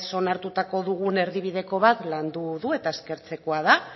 onartuta dugun erdibideko bat landu du eta eskertzekoa da